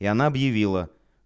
и она объявила